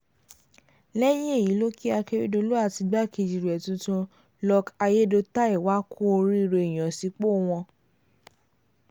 lẹ́yìn èyí ló kí akérèdọ́lù àti igbákejì rẹ̀ tuntun luc aiyedọtaiwa kú oríire ìyànsípò wọn